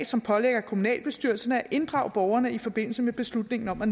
som pålægger kommunalbestyrelsen at inddrage borgerne i forbindelse med beslutningen om at